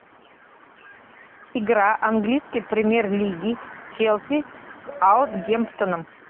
игра английской премьер лиги челси с саутгемптоном